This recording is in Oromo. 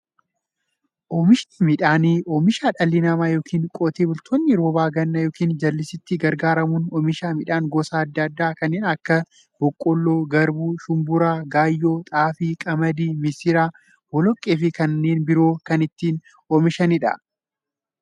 Oomishni midhaanii, oomisha dhalli namaa yookiin Qotee bultoonni roba gannaa yookiin jallisiitti gargaaramuun oomisha midhaan gosa adda addaa kanneen akka; boqqoolloo, garbuu, shumburaa, gaayyoo, xaafii, qamadii, misira, boloqqeefi kanneen biroo itti oomishamiidha.